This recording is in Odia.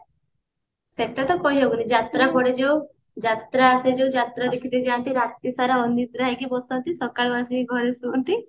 ସେଟା ତ କହି ହବନି ଯାତ୍ରା ପଡେ ଯୋଉ ଯାତ୍ରା ସେ ଯୋଉ ଯାତ୍ରା ଦେଖିତେ ଯାନ୍ତି ରାତି ସାରା ଅନିଦ୍ରା ହେଇକି ବସନ୍ତି ସକାଳୁ ଆସିକି ଘରେ ଶୁଅନ୍ତି